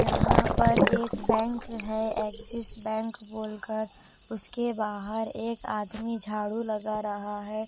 यहां पर एक बैंक है एक्सिस बैंक बोल कर उसके बाहर एक आदमी झाड़ू लगा रहा है।